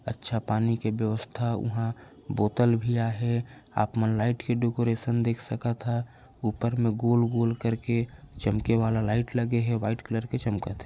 अच्छा पानी के व्यवस्था उहाँ बोतल भी आहे आप मन लाइट के डेकरैशन देख सकत हव ऊपर मे गोल गोल करके चमके वाला लाइट लगे हे व्हाइट कलर के चमकत हे।